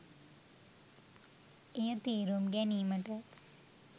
එය තේරුම් ගැනීමට